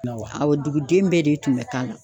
Na wa awɔ dugudenw bɛɛ de tun be k'a la